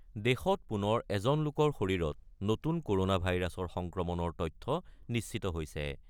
দেশত পুনৰ এজন লোকৰ শৰীৰত নতুন ক'ৰনা ভাইৰাছৰ সংক্ৰমণৰ তথ্য নিশ্চিত হৈছে।